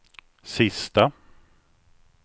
sista